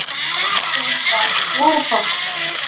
Þeim varð svarafátt.